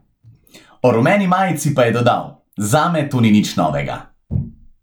O rumeni majici pa je dodal: "Zame to ni nič novega.